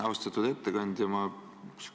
Austatud ettekandja!